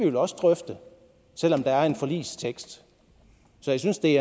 jo også drøfte selv om der er en forligstekst så jeg synes det